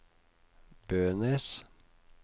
Bønes